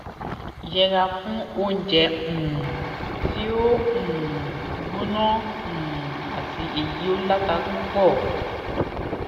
yẹra fún oúnjẹ um ti o um gbóná um àti eyi o lata pupo